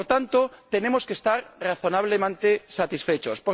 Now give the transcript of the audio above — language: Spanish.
Por lo tanto, tenemos que estar razonablemente satisfechos.